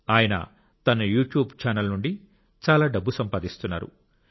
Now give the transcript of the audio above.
ఆయన తన YouTube channel నుండి చాలా డబ్బు సంపాదిస్తున్నారు